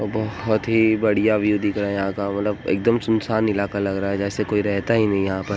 बहुत ही बढ़िया व्यू दिख रहा है यहां का। मतलब एकदम सुनसान इलाका लग रहा है जैसे कोई रहता ही नहीं यहाँ पर।